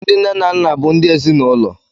Ndị nne na nna bụ ndị ezinaụlọ